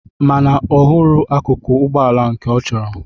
Mana ọ hụrụ akụkụ Ụgbọala nke ọ chọrọ.